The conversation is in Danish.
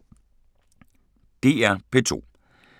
DR P2